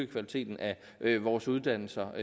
kvaliteten af vores uddannelser